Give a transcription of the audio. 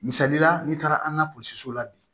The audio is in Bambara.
Misali la n'i taara an ka polisiw la bi